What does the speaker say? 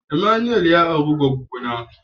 " Emmanuel " ya aure gwaggo na.